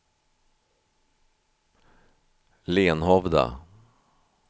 Lenhovda